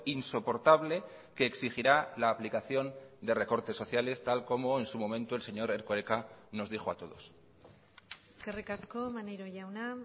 insoportable que exigirá la aplicación de recortes sociales tal como en su momento el señor erkoreka nos dijo a todos eskerrik asko maneiro jauna